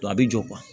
a bɛ jɔ